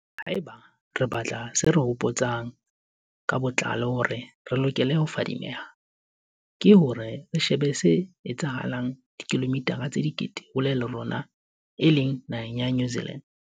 Haeba re batla se re hopo tsang ka botlalo hore re lokele ho fadimeha, ke hore re shebe se etsahetseng dikilomithara tse dikete hole le rona e leng naheng ya New Zealand.